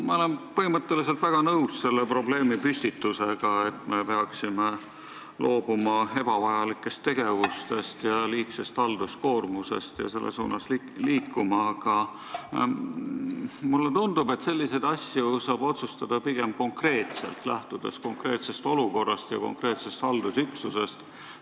Ma olen põhimõtteliselt nõus selle probleemipüstitusega, et me peaksime loobuma ebavajalikest tegevustest ja liigsest halduskoormusest ning selles suunas liikuma, aga mulle tundub, et selliseid asju saab otsustada pigem konkreetselt, lähtudes konkreetsest olukorrast ja konkreetsest haldusüksusest.